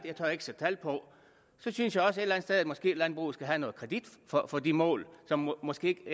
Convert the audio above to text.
ikke sætte tal på så synes jeg også at landbruget måske skal have noget kredit for for de mål som måske